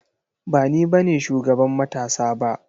Ba ni bane shugaban matasa ba.